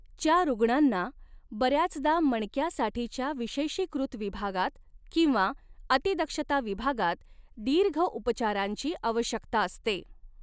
च्या रूग्णांना बऱ्याचदा मणक्यासाठीच्या विशेषीकृत विभागात किंवा अतिदक्षता विभागात दीर्घ उपचारांची आवश्यकता असते.